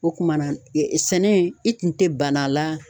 O kumana e sɛnɛ in i tun tɛ banna a la.